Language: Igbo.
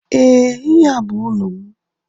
Ee ihe a bú ụlọ m